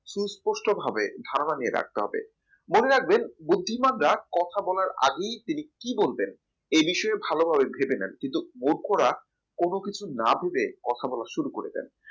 সুস্পষ্টভাবে ধারণা নিয়ে রাখতে হবে মনে রাখবেন বুদ্ধিমানরা কথা বলার আগেই তিনি কি বলতেন এই বিষয়ে ভালোভাবে ভেবে নাই কিন্তু মূর্খরা কোন কিছু না ভেবে কথা বলা শুরু করে দেয়